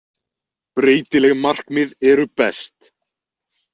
Breytileg markmið eru best!